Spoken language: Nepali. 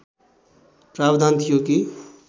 प्रावधान थियो कि